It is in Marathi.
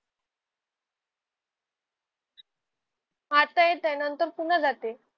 आता येत आहे नंतर पुन्हा जाते